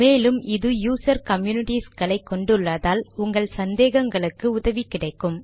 மேலும் இது user communities களை கொண்டு உள்ளதால் உங்கள் சந்தேகங்களுக்கு உதவி கிடைக்கும்